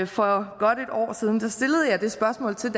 for godt en år siden stillede jeg det spørgsmål til